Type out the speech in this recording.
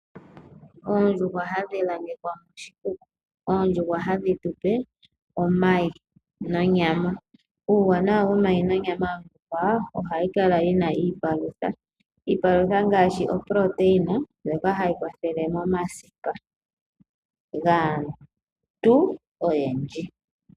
Oondjuhwa hadhi langekwa moshikuku, oondjuhwa hadhi tu pe omayi nonyama. Uuwanawa womayi nonyama oondjuhwa ohayi kala yi na iipalutha. Iipalutha ngaashi oprotein ndjoka hayi kwathelele momasipa gaantu oyendji.